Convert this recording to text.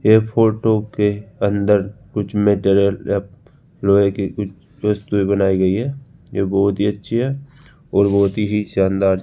ये फोटो के अंदर कुछ मेंटेरियल लैप लोहे के कुछ वस्तुय बनाई गई है ये बोहोत ही अच्छी है और बोहोत ही शानदार --